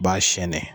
Ba sɛnɛn